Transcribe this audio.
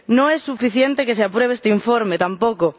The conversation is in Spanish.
No es suficiente que se apruebe este informe, tampoco.